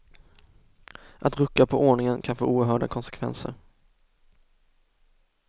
Att rucka på ordningen kan få oerhörda konsekvenser.